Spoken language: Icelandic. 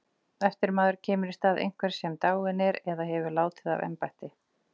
Eftirmaður kemur í stað einhvers sem dáinn er eða hefur látið af embætti.